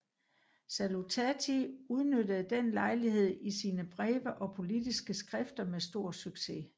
Salutati udnyttede den lejlighed i sine breve og politiske skrifter med stor succes